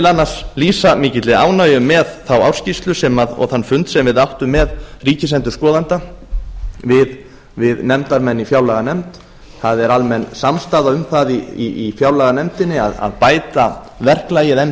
annars lýsa mikilli ánægju með þá ársskýrslu og þann fund sem við nefndarmenn áttum með ríkisendurskoðanda það er almenn samstaða um það í fjárlaganefndinni að bæta verklagið enn